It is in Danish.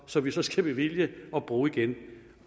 som vi så skal bevilge og bruge igen